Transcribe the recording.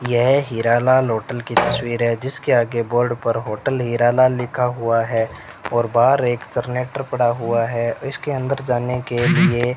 यह हीरालाल होटल की तस्वीर है जिसके आगे बोर्ड पर होटल हीरालाल लिखा हुआ है और बाहर एक सरनेटर पड़ा हुआ है इसके अंदर जाने के लिए --